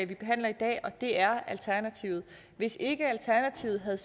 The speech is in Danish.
vi behandler i dag og det er alternativet hvis ikke alternativet havde